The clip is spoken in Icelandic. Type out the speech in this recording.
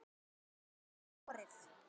Kýr geta borið